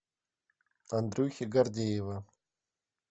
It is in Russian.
андрюхи гордеева